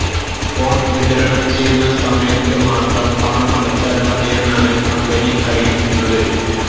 phone വിതരണം ചെയ്യുന്ന സമയത്തുമാത്രം പണം അടച്ചാല് മതിയെന്നാണ് കമ്പനി അറിയിക്കുന്നത്